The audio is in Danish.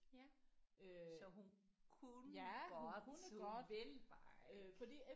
Ja så hun kunne godt hun ville bare ikke